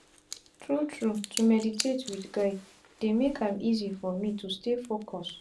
tru tru to meditate wit guide dey make am easy for me to stay focus.